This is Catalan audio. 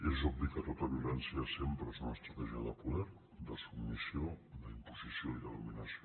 és obvi que tota violència sempre és una estratègia de poder de submissió d’imposició i de dominació